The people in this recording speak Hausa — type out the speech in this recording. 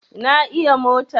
Na iya mota